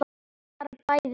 Bara bæði betra.